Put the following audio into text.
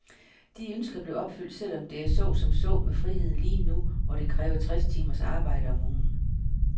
De ønsker blev opfyldt, selv om det er så som så med friheden lige nu, hvor det kræver tres timers arbejde om ugen.